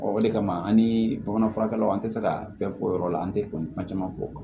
o de kama an ni bamanan furakɛlaw an tɛ se ka fɛn fɔ o yɔrɔ la an tɛ ko caman fɔ o kan